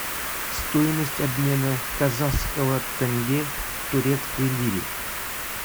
стоимость обмена казахского тенге к турецкой лире